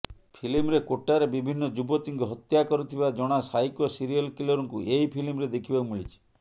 ଫିଲ୍ମରେ କୋଟାରେ ବିଭିନ୍ନ ଯୁବତୀଙ୍କୁ ହତ୍ୟା କରୁଥିବା ଜଣା ସାଇକୋ ସିରିଏଲ୍ କିଲରକୁ ଏହି ଫିଲ୍ମରେ ଦେଖିବାକୁ ମିଳିଛି